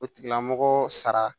O tigilamɔgɔ sara